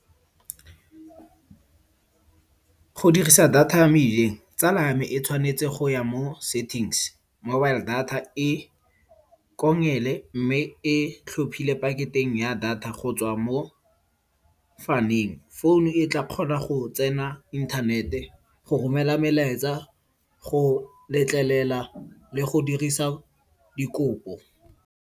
Go dirisa data ya mmileng, tsala ya me e tshwanetse go ya mo settings, mobile data e kongele mme e tlhophile paketeng ya data go tswa mo faming. Founu e tla kgona go tsena inthanete go romela melaetsa, go letlelela le go dirisa dikopo.